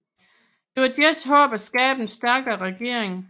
Det var deres håb at skabe en stærkere regering